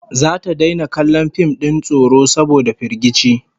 Zata daina kallon fim din tsoro saboda firgici